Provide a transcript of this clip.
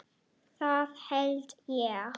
Það held ég